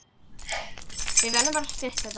Við verðum bara stutt, Edda.